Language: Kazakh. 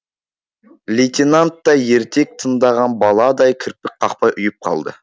лейтенант та ертек тыңдаған баладай кірпік қақпай ұйып қалды